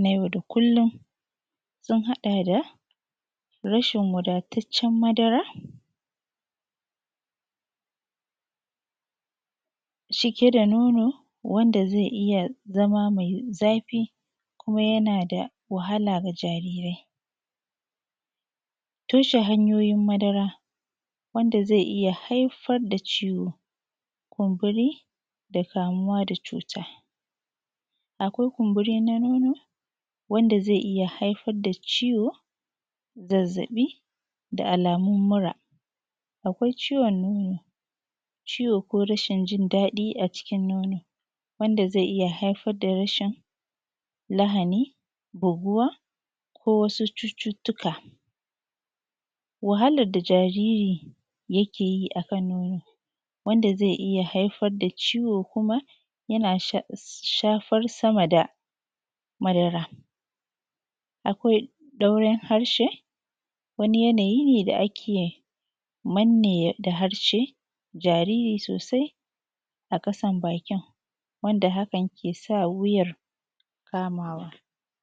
na yau da kullum sun haɗa da: Rashin wadataccen madara cike da nono wanda zai iya zama mai zafi kuma yana da wahala ga jaarirai, toshe hanyoyin madara wanda zai iya haifar da ciwon kumburi da kamuwa da cuuta, akwai kumburi na nono wanda zai iya haifar da ciwo, zazzaɓi, da alaamun mura, akwai ciwon nono ciwo ko rasin jin daɗi a cikin nono wanda zai iya haifar da rashin lahani googuwa ko wasu cututtuka. Wahalar da jaariri yakee yi a kan nono wanda zai iya haifar ciwo kuma yana shafar sama da madara, akwai ɗauran harshe wani yanayi ne da ake manne da harshe jariri soosai a ƙasan baakin wanda hakan ke sa wuyar kamawa.